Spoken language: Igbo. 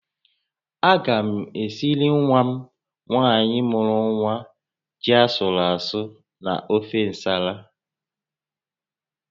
Aga m esiri nwa m nwaanyị mụrụ nwa ji asụrụ asụ na ofe ǹsàlà